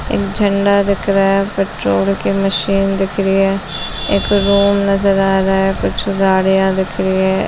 एक झंडा दिख रहा है पट्रोल की मशीन दिख रही है एक रूम नजर आ रहा है कुछ गाड़ियाँ दिख रही है |